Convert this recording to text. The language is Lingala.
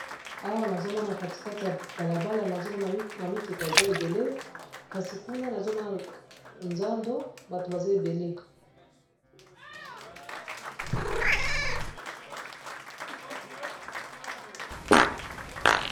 Awa, nazo mona katikati ya balabala ; nazo mona ba mituka eza ebele. Kasi kuna nazo mona nzando bato baza ebele.